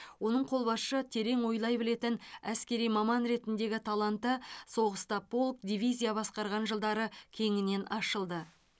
оның қолбасшы терең ойлай білетін әскери маман ретіндегі таланты соғыста полк дивизия басқарған жылдары кеңінен ашылды